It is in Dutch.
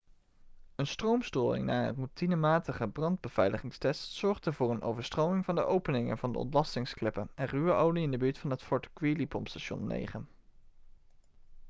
een stroomstoring na een routinematige brandbeveiligingstest zorgde voor een overstroming van de openingen van de ontlastingskleppen en ruwe olie in de buurt van het fort greely-pompstation 9